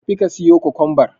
Tafi ka siyo Kwakwanbar.